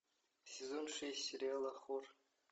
сезон шесть сериала хор